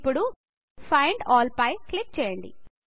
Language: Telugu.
ఇప్పుడు ఫైండ్ ఆల్ పై క్లిక్ చేయండి